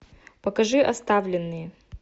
покажи оставленные